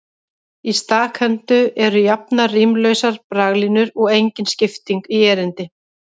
Í stakhendu eru jafnar, rímlausar braglínur og engin skipting í erindi.